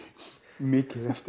mikið eftir